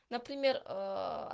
например